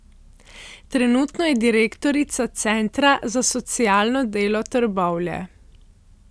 Trenutno je direktorica centra za socialno delo Trbovlje.